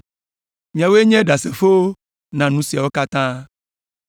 Miawoe nye ɖasefowo na nu siawo katã.